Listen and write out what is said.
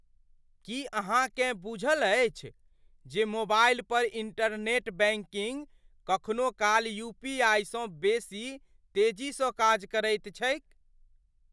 की अहाँकेँ बूझल अछि जे मोबाइल पर इंटरनेट बैंकिंग कखनो काल यूपीआईसँ बेसी तेजी स काज करैत छैक?